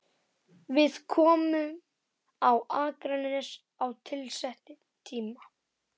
Við komum á Akranes á tilsettum tíma.